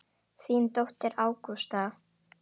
Þín dóttir, Ágústa.